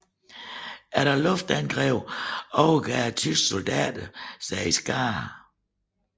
Efter luftangrebet overgav tyske soldater sig i skarer